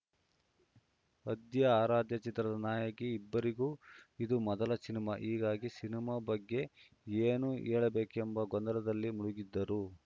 ಆದ್ಯ ಆರಾಧ್ಯ ಚಿತ್ರದ ನಾಯಕಿ ಇಬ್ಬರಿಗೂ ಇದು ಮೊದಲ ಸಿನಿಮಾ ಹೀಗಾಗಿ ಸಿನಿಮಾ ಬಗ್ಗೆ ಏನು ಹೇಳಬೇಕೆಂಬ ಗೊಂದಲದಲ್ಲಿ ಮುಳುಗಿದ್ದರು